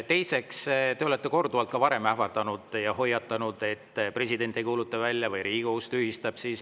Teiseks, te olete ka varem korduvalt ähvardanud ja hoiatanud, et president ei kuuluta välja või Riigikohus tühistab selle.